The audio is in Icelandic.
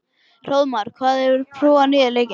Hróðmar, hefur þú prófað nýja leikinn?